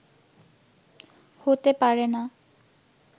হতে পারেনা